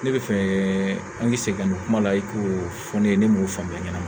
Ne bɛ fɛ an ka segin ka na kuma la i k'o fɔ ne ye ne m'o faamuya